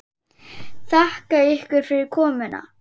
Þakka ykkur fyrir komuna.